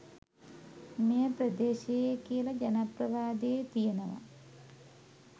මෙය ප්‍රදේශයේ කියල ජනප්‍රවාදයේ තියෙනවා.